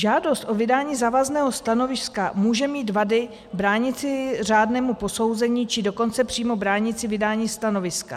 Žádost o vydání závazného stanoviska může mít vady bránící řádnému posouzení, či dokonce přímo bránící vydání stanoviska.